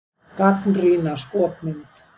Gagnrýna skopmynd